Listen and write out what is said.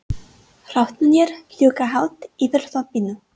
Hrafnarnir fljúga hátt yfir þorpinu.